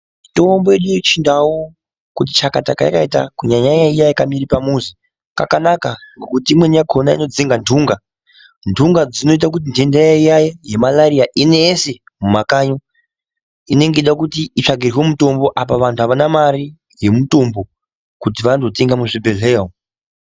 Mutombo yedu yechindau kuti chakata kweyakaita kunyanya nyanya iya yakamere pamuzi yakanaka ngekuti imweni yakona inodzinga ntunga. Ntunga dzinoita kuti ntenda iya yemalariya inese mumakanyi inenge yeida kuti itsvagirwe mutombo apa vantu Havana mari yemutombo kuti vandotenga muzvibhehleya umu.